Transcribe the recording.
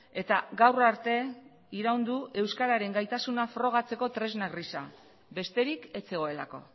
eta gaur arte iraun du euskararen gaitasuna frogatzeko tresna gisa besterik ez zegoelako